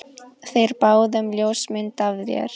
Þeir báðu um ljósmynd af þér.